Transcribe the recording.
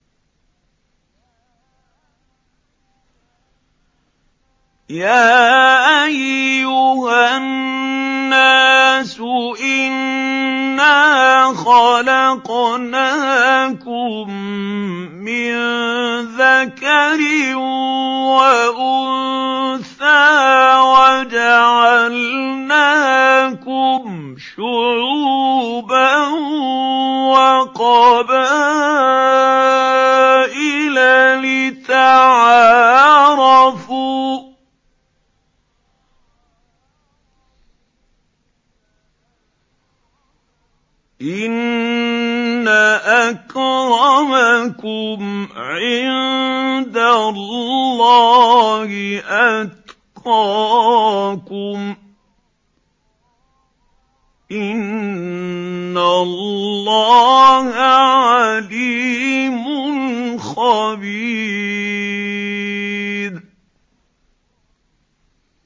يَا أَيُّهَا النَّاسُ إِنَّا خَلَقْنَاكُم مِّن ذَكَرٍ وَأُنثَىٰ وَجَعَلْنَاكُمْ شُعُوبًا وَقَبَائِلَ لِتَعَارَفُوا ۚ إِنَّ أَكْرَمَكُمْ عِندَ اللَّهِ أَتْقَاكُمْ ۚ إِنَّ اللَّهَ عَلِيمٌ خَبِيرٌ